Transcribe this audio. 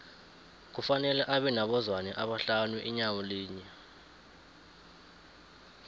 kufanele abe nabo zwane abahlanu inyawo linye